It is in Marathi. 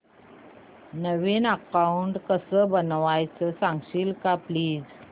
नवीन अकाऊंट कसं बनवायचं सांगशील का प्लीज